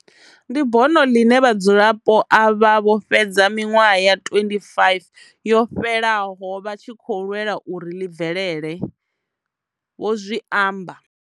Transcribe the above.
Ndi bono ḽine vhadzulapo avha vho fhedza miṅwaha ya 25 yo fhelaho vha tshi khou lwela uri ḽi bvelele, vho zwi amba.